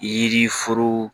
Yiri foro